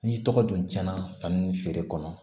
N'i tɔgɔ dun cɛn na sanni feere kɔnɔ